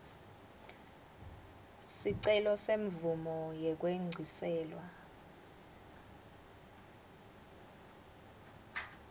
sicelo semvumo yekwengciselwa